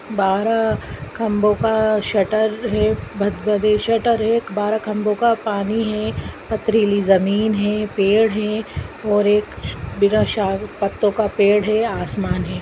बारा खम्बो का शटर है भद भदे शटर एक बारा खम्बो का पानी है पथरीली जमीन है पेड़ है और एक बिना पत्तो का पेड़ है आसमान है।